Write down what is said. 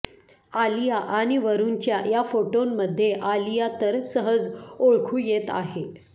आलिया आणि वरुणच्या या फोटोंमध्ये आलिया तर सहज ओळखू येत आहे